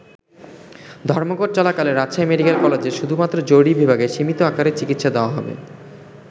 ধর্মঘট চলাকালে রাজশাহী মেডিকেল কলেজের শুধুমাত্র জরুরী বিভাগে সীমিত আকারে চিকিৎসা দেয়া হবে।